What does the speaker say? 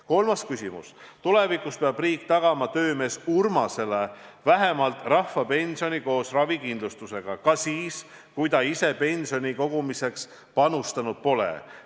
Kolmas küsimus: "Tulevikus peab riik tagama töömees Urmasele vähemalt rahvapensioni koos ravikindlustusega ka siis, kui ta ise pensionikogumiseks panustanud pole.